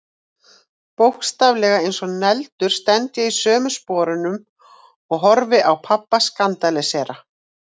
Bókstaflega eins og negldur stend ég í sömu sporum og horfi á pabba skandalísera.